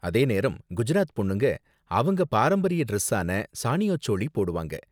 அதே நேரம் குஜராத் பொண்ணுங்க அவங்க பாரம்பரிய டிரஸ்ஸான சானியோ சோளி போடுவாங்க.